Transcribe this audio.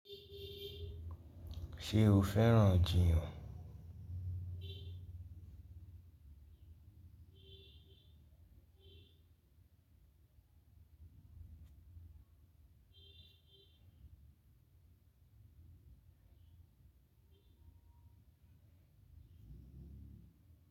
Ṣé o fẹ́ràn-an jìyàn?